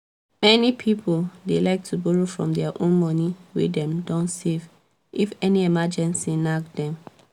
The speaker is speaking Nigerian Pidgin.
many people dey like to borrow from dia own money wey dem don save if any emergency knack dem